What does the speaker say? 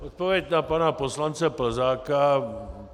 Odpověď na pana poslance Plzáka.